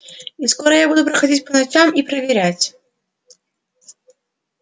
и скоро я буду приходить по ночам и проверять